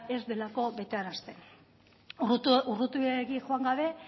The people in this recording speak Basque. ez delako betearazten urrutiegi joan gabe